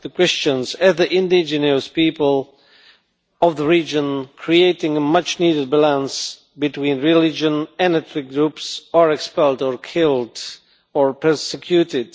The Christians, as the indigenous people of the region, creating a much needed balance between religion and ethnic groups, are expelled or killed, or persecuted.